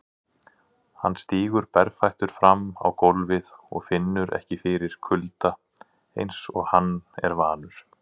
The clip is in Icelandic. Hann stígur berfættur fram á gólfið og finnur ekki fyrir kulda einsog hann er vanur.